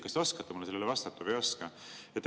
Kas te oskate mulle vastata või ei oska?